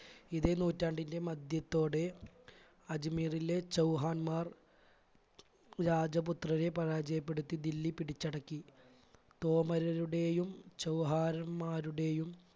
ഇതേ നൂറ്റാണ്ടിൻറെ മധ്യത്തോടെ അജ്മീറിലെ ചൗഹാന്മാർ രാജപുത്രരെ പരാജയപ്പെടുത്തി ദില്ലി പിടിച്ചടക്കി. കോമരരുടെയും ചൗഹാരന്മാരുടെയും